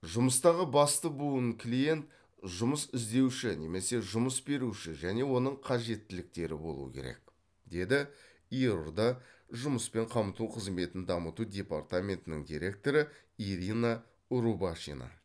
жұмыстағы басты буын клиент жұмыс іздеуші немесе жұмыс беруші және оның қажеттіліктері болуы керек деді ердо жұмыспен қамту қызметін дамыту департаментінің директоры ирина рубашина